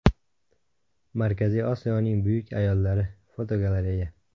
Markaziy Osiyoning buyuk ayollari (fotogalereya).